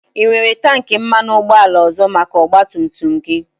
Ị nwere tankị mmanụ ụgbọala ọzọ maka ọgba tum tum gị?